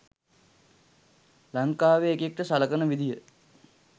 ලංකාවේ එකෙක්ට සලකන විදිය